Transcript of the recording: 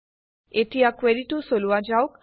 এতিয়া কুৱেৰিটো চলোৱা যাওক